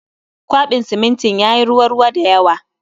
Kwaben simintin yayi ruwa ruwa da yawa